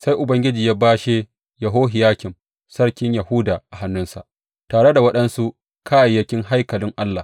Sai Ubangiji ya bashe Yehohiyakim sarkin Yahuda a hannunsa, tare da waɗansu kayayyakin haikalin Allah.